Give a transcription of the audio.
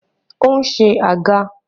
Ó ń se àga.